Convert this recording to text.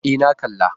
E, na kalla.